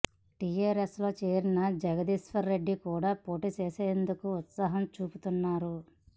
టిఆర్ఎస్లో చేరిన జగదీశ్వర్ రెడ్డి కూడా పోటీ చేసేందుకు ఉత్సాహం చూపిస్తున్నారు